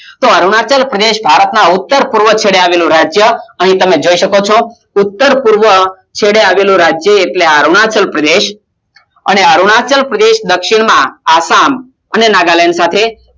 તો અરુણાચલ પ્રદેશ ભારતના ઉત્તરપૂર્વ છેડે આવેલુ રાજ્ય અહી તમે જોઈ શકો છો ઉત્તરપૂર્વ છેડે આવેલુ રાજ્ય એટલે આરુણાચલ પ્રદેશ અને અરુણાચલ પ્રદેશ દક્ષિણમાં આસામ અને નાગાલેન્ડ સાથે